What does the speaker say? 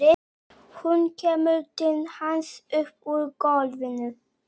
Hún kemur til hans upp úr gólfinu.